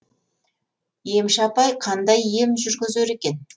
емші апай қандай ем жүргізер екен